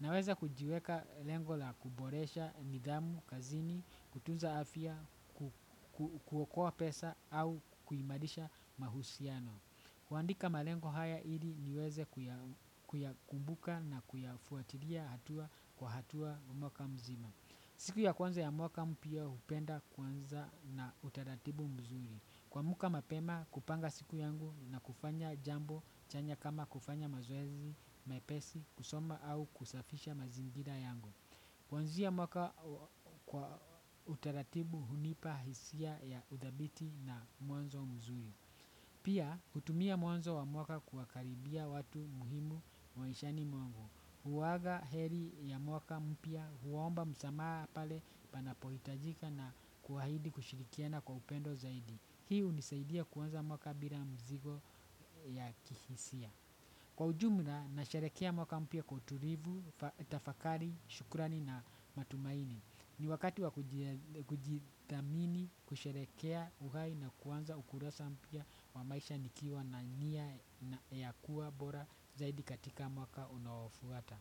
Naweza kujiweka lengo la kuboresha nidhamu kazini, kutunza afya, kuokoa pesa au kuimarisha mahusiano. Kuandika malengo haya ili niweze kuyakumbuka na kuyafuatilia hatua kwa hatua mwaka mzima. Siku ya kwanza ya mwaka mpya hupenda kuanza na utaratibu mzuri. Kuamka mapema kupanga siku yangu na kufanya jambo chanya kama kufanya mazoezi mepesi, kusoma au kusafisha mazingira yangu. Kuanzia mwaka kwa utaratibu hunipa hisia ya uthabiti na mwanzo mzuri. Pia hutumia mwanzo wa mwaka kuwakaribia watu muhimu maishani mwangu huaga heri ya mwaka mpya huomba msamaha pale panapohitajika na kuahidi kushirikiana kwa upendo zaidi. Hii hunisaidia kuanza mwaka bila mzigo ya kihisia. Kwa ujumla nasharehekea mwaka mpya kwa utulivu, tafakari, shukurani na matumaini. Ni wakati wa kujithamini kusherehekea uhai na kuanza ukurasa mpya wa maisha nikiwa na nia ya kuwa bora zaidi katika mwaka unaofuata.